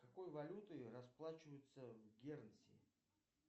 какой валютой расплачиваются в гернси